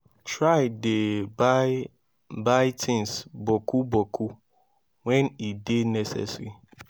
try dey buy buy tins boku boku wen e dey necessary